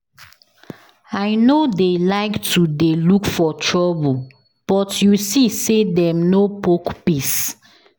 I no dey like to dey look for trouble but you see say dem no poke peace